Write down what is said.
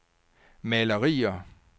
malerier